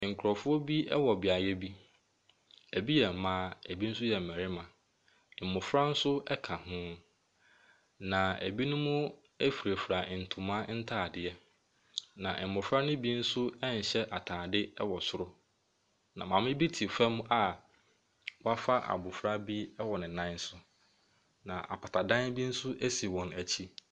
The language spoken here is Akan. Nkurɔfoɔ bi wɔ beaeɛ bi. Ɛbi mmaa, ɛbi nso yɛ mmarima. Mmofra nso ka ho, na ɛbinom firafira ntoma ntadeɛ, na mmɔfra no bi nso nhyɛ atadeɛ wɔ soro, na maame bi te fam a wafa abɔfra bo wɔ ne nan so, na ɛdan bi nso si wɔn akyi.